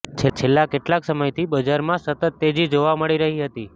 છેલ્લા કેટલાક સમયથી બજારમાં સતત તેજી જોવા મળી રહી હતી